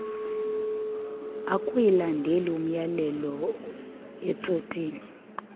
akuyilandeli imyalelo estotini